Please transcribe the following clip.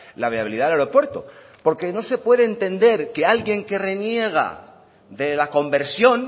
la viabilidad del aeropuerto porque no se puede entender que alguien que reniega de la conversión